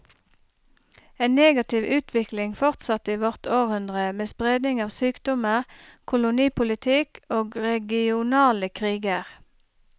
En negativ utvikling fortsatte i vårt århundre, med spredning av sykdommer, kolonipolitikk og regionale kriger.